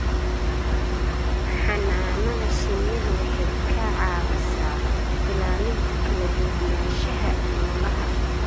Xannaanada shinnidu waxay ka caawisaa ilaalinta kala duwanaanshaha noolaha.